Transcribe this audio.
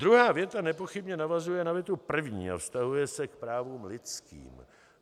Druhá věta nepochybně navazuje na větu první a vztahuje se k právům lidským.